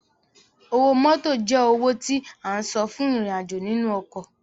Owó mótò jẹ́ owó tí o san fún ìrìn-àjò nínú ọkọ̀